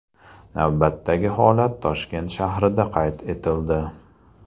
Navbatdagi holat Toshkent shahrida qayd etildi.